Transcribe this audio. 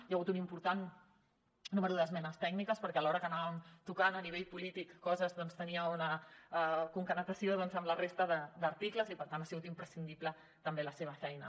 hi ha hagut un important nombre d’esmenes tècniques perquè alhora que anàvem tocant a nivell polític coses doncs això tenia una concatenació amb la resta d’articles i per tant ha sigut imprescindible també la seva feina